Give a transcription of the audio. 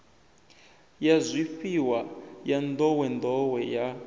ya zwifhiwa ya nḓowenḓowe ya